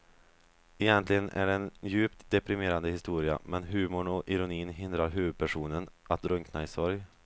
Egentligen är det en djupt deprimerande historia men humorn och ironin hindrar huvudpersonen att drunkna i sorg.